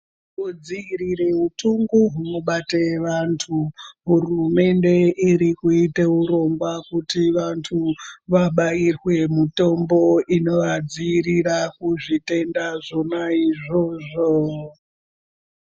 Kudzivirira utenda hunobata antu hurumende iri kuita urongwa wekuti vantu vabairwe mutombo unovadzivirira kuzvitenda zvona izvozvo.